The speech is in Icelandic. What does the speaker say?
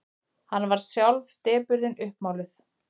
Hann varð sjálf depurðin uppmáluð.